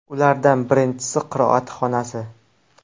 Ulardan birinchisi qiroat xonasi.